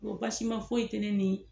basima foyi te ne ni